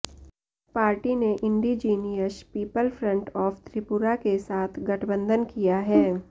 party ने indigenous people front of Tripura के साथ गठबंधन किया है